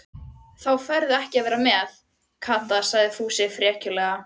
Þá færðu ekki að vera með, Kata sagði Fúsi frekjulega.